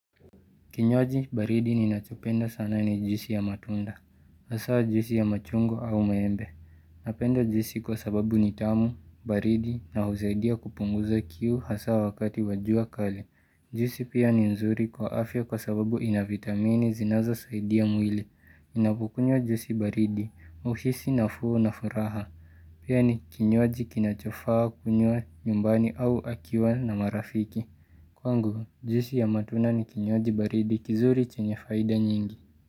Kinywaji baridi ni nachopenda sana ni juisi ya matunda, hasa juisi ya machungwa au maembe. Napenda ujisi kwa sababu ni tamu, baridi na husaidia kupunguza kiu hasa wakati wa jua kali. Juisi pia ni nzuri kwa afya kwa sababu inavitamini zinazo saidia mwili. Ninapukunywa juisi baridi, huhisi nafuu na furaha. Pia ni kinywaji kinachofaa kunywa nyumbani au akiwa na marafiki. Kwangu, juisi ya matunda ni kinywaji baridi kizuri chenye faida nyingi.